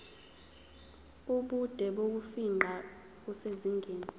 ubude bokufingqa kusezingeni